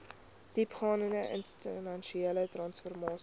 diepgaande institusionele transformasie